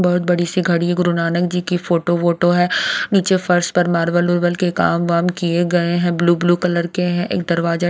बहुत बड़ी सी घड़ी है गुरु नानक जी की फोटो वोटो है नीचे फर्श पर मारवल के कामवाम किए गए हैं ब्लू ब्लू कलर के हैं एक दरवाजे--